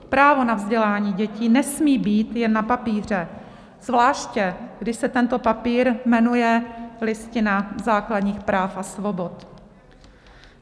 Právo na vzdělání dětí nesmí být jen na papíře, zvláště když se ten papír jmenuje Listina základních práv a svobod.